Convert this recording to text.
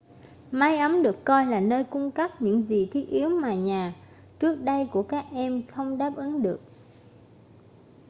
mái ấm được coi là nơi cung cấp những gì thiết yếu mà nhà trước đây của các em không đáp ứng được